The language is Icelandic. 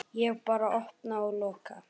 Ég bara opna og loka.